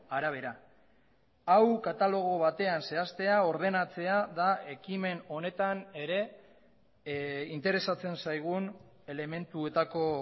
arabera hau katalogo batean zehaztea ordenatzea da ekimen honetan ere interesatzen zaigun elementuetako